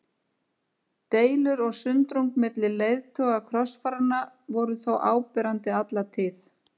Deilur og sundrung milli leiðtoga krossfaranna voru þó áberandi alla tíð.